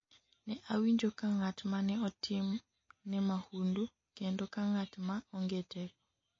ne awinjo ka ng'at mane otim ne mahundu kendo ka ng'at ma onge teko